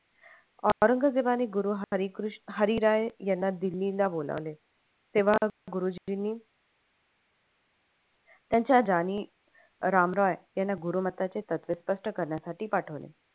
औरंगजेबाने गुरु हरीराय यांना दिल्लीला बोलावले तेव्हा गुरुजींनी त्यांचा जानी राम रॉय याना गुरुमत्ताचे तत्त्वे स्पष्ट करण्यासाठी पाठवले.